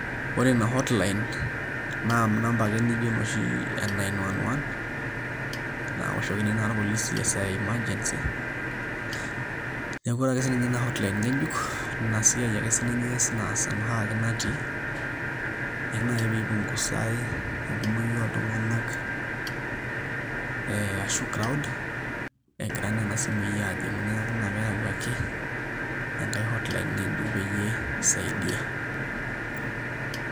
Ore ina hotline na numba ake nijo ne nine one one naoshokini irpolisi esaa e emergency neaku ore ake sinye inahotline ngejuk inasiai ake sinye eas naas enoshiake natii keji nai pipunguzae eiono oltunganak ashu croud neaku ina pipungusaki peawuaki enkae hotline ngejuk pisaidia.